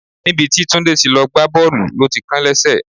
Níbi tí Tunde ti lọ gbá Bọ́ọ̀lù ló ti kán lẹ́sẹ̀.